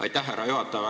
Aitäh, härra juhataja!